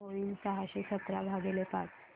काय होईल सहाशे सतरा भागीले पाच